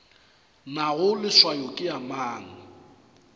nago leswao ke ya mang